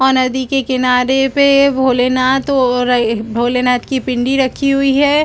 वहाँ नदी के किनारे पे भोलेनाथ और भोलेनाथ की पिंडी रखी हुई हैं ।